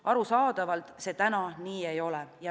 Arusaadavalt see täna nii ei ole.